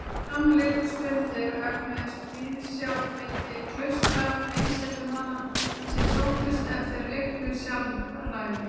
Þegar fram liðu stundir mögnuðust viðsjár milli klaustra og einsetumanna sem sóttust eftir auknu sjálfræði.